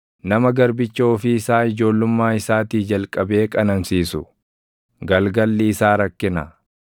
Nama garbicha ofii isaa // ijoollummaa isaatii jalqabee qanansiisu, galgalli isaa rakkina.